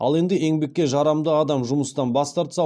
ал енді еңбекке жарамды адам жұмыстан бас тартса